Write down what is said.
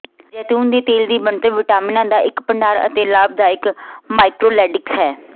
ਜੈਤੂਨ ਦੇ ਤੇਲ ਦੀ ਬਣਤਰ ਵਿਟਾਮਿਨਾਂ ਦਾ ਇੱਕ ਭੰਡਾਰ ਹੈ ਅਤੇ ਲਾਭਕਾਰੀ ਮਾਈਕ੍ਰੋਲੇਟਿਡਸ ਹੈ